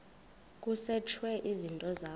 kusetshwe izinto zakho